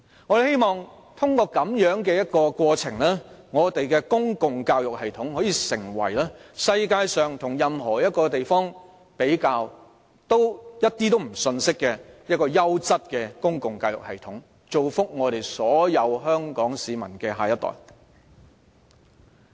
我們希望通過這種過程，令我們的公共教育系統可以成為與世界各地比較均毫不遜色的優質公共教育系統，造福所有香港市民的下一代。